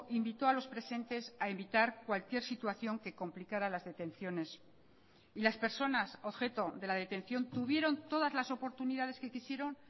invitó a los presentes a evitar cualquier situación que complicara las detenciones y las personas objeto de la detención tuvieron todas las oportunidades que quisieron